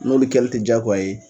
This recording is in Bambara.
N'olu kɛli tɛ diyagoya ye